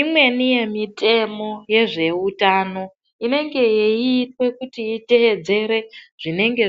Imweni yemitemo yezve hutano inenge yeiswa kuti itedzere zvinenge